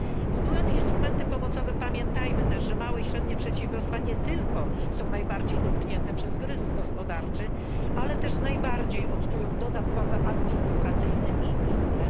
Budując instrumenty pomocowe, pamiętajmy też, że małe i średnie przedsiębiorstwa nie tylko są najbardziej dotknięte przez kryzys gospodarczy, ale też najbardziej odczują dodatkowe obciążenia administracyjne i inne.